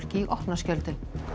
í opna skjöldu